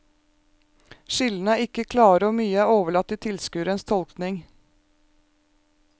Skillene er ikke klare og mye er overlatt til tilskuerens tolkning.